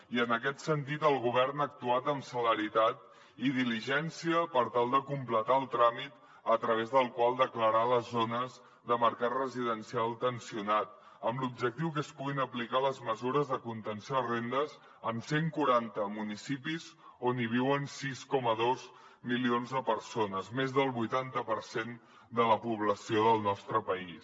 i en aquest sentit el govern ha actuat amb celeritat i diligència per tal de completar el tràmit a través del qual declarar les zones de mercat residencial tensionat amb l’objectiu que es puguin aplicar les mesures de contenció de rendes en cent quaranta municipis on hi viuen sis coma dos milions de persones més del vuitanta per cent de la població del nostre país